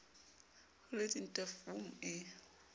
ho le dintwa vmme e